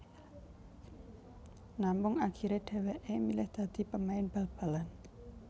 Namung akhirè dhèwèkè milih dadi pemain bal balan